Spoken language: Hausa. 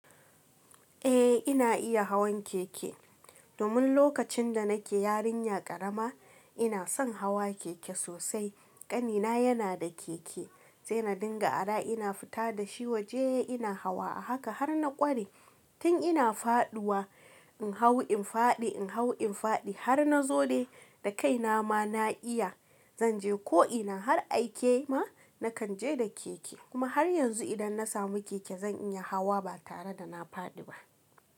Eh ina iya hawan keke, domin lokacin da nake yarinya ƙarama ina son hawa keke sosai, ƙanina yana da keke sai na dinga a da ina fita da shi waje ina hawa a haka har na ƙware tun ina faduwa in hau in fadi in hau in fadi har na zo dai da kaina ma na iya zanje ko ina har aike ma nakan je da keke kuma har yanzu idan na samu keke zan iya hawa ba tare da na fadi ba.